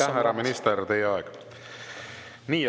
Aitäh, härra minister, teie aeg!